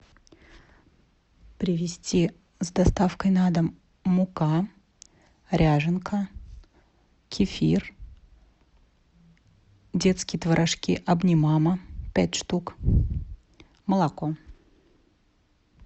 привезти с доставкой на дом мука ряженка кефир детские творожки обнимама пять штук молоко